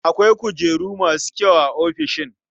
Akwai kujeru masu kyau a ofishin?